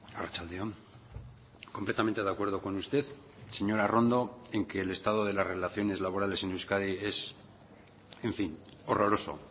arratsalde on completamente de acuerdo con usted señora arrondo en que el estado de las relaciones laborales en euskadi es en fin horroroso